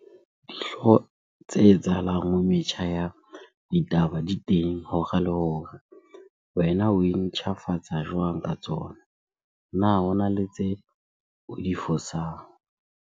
Dihlooho tse etsahalang ho metjha ya ditaba di teng hora le hora. Wena oe ntjhafatsa jwang ka tsona? Na hona le tse o di fosang?